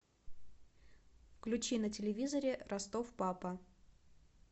включи на телевизоре ростов папа